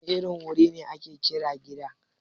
Wane irin wuri ne ake kira Gida?